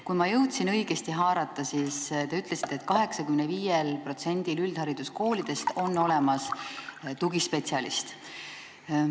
Kui ma jõudsin õigesti haarata, siis te ütlesite, et 85%-l üldhariduskoolidest on olemas tugispetsialist.